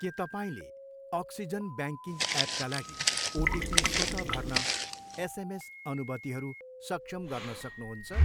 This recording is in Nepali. के तपाईँले अक्सिजन ब्याङ्किङ एपका लागि ओटीपी स्वत भर्न एसएमएस अनुमतिहरू सक्षम गर्न सक्नुहुन्छ?